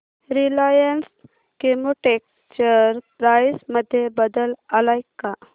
Reliance Chemotex share price मध्ये बदल आलाय का